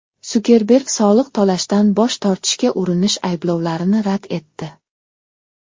Sukerberg soliq to‘lashdan bosh tortishga urinish ayblovlarini rad etdi.